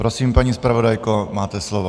Prosím, paní zpravodajko, máte slovo.